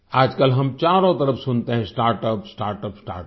आज कल हम चारों तरफ सुनते हैं स्टार्टअप स्टार्टअप स्टार्टअप